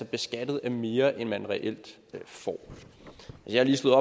beskattet af mere end man reelt får og jeg har lige slået